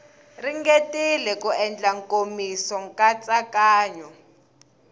ringetile ku endla nkomiso nkatsakanyo